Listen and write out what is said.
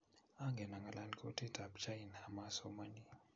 angen angalal kutitab china amasomani